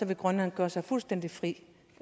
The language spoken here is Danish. vil grønland gøre sig fuldstændig fri